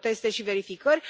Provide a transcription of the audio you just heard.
teste și verificări.